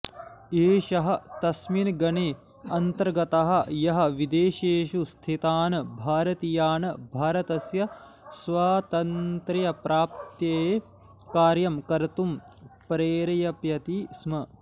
एषः तस्मिन् गणे अन्तर्गतः यः विदेशेषु स्थितान् भारतीयान् भारतस्य स्वातन्त्र्यप्राप्तये कार्यं कर्तुं प्रेरेपयति स्म